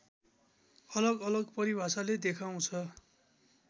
अलगअलग परिभाषाले देखाउँछ